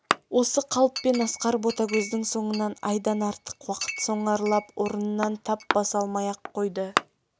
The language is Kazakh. осы қалыппен асқар ботагөздің соңынан айдан артық уақыт сонарлап орыннан тап баса алмай-ақ қойды